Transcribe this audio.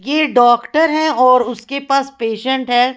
ये डॉक्टर हैं और उसके पास पेशेंट है।